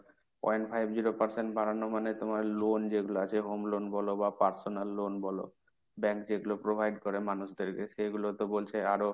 point five zero percent বাড়ানো মানে তোমার loan যেগুলো আছে home loan বলো বা personal loan বলো bank যেগুলো provide করে মানুষদেরকে, সেগুলো তো বলছে আরো,